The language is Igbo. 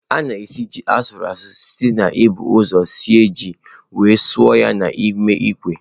A na esi ji asuruasu site n'ibu ụzọ sie ji wee suo ya n'ime ikwe.